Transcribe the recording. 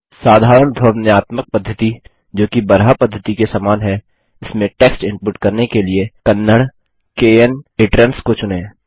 साधारण ध्वन्यात्मक पद्धति जो कि बराहा पद्धति के समान है इसमें टेक्स्ट इनपुट करने के लिए कन्नड़ kn इट्रांस को चुनें